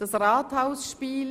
Das Rathaus-Spiel».